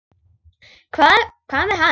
Hvað með hann?